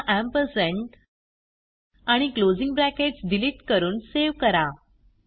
पुन्हा आणि closing brackets delete करून सेव्ह करा